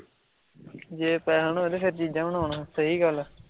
ਜੇ ਪੈਹੇ ਨਾ ਤੇ ਫਿਰ ਚੀਜਾਂ ਵੀ ਨਾ ਹੋਣ, ਸਹੀ ਗੱਲ ਐ